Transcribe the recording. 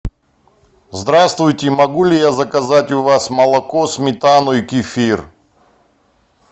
здравствуйте могу ли я заказать у вас молоко сметану и кефир